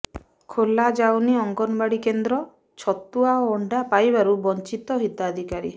ଖୋଲାଯାଉନି ଅଙ୍ଗନୱାଡି କେନ୍ଦ୍ର ଛତୁଆ ଓ ଅଣ୍ଡା ପାଇବାରୁ ବଞ୍ଚିତ ହିତାଧିକାରୀ